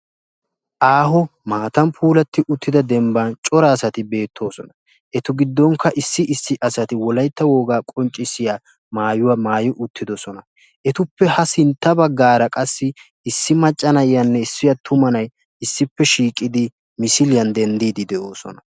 aaho maatan puulatti uttida dembbancora asati beettoosona. etu giddonkka issi issi asati wolaytta wogaa qonccissiya maayuwa maayi uttidosona. etuppe ha sintta baggaara qassi issi macca na"iyanne issi attuma na"ay issippe shiiqidi misiliyan denddiiddi de'oosona.